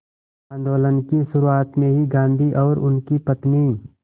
आंदोलन की शुरुआत में ही गांधी और उनकी पत्नी